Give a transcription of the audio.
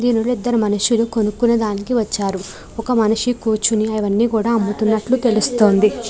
దీనిలో ఇద్దరు మనుషులు కొనుక్కునే దానికి వచ్చారు ఒక మనిషి కూర్చుని అవన్నీ కూడా అమ్ముతున్నట్లు తెలుస్తోంది.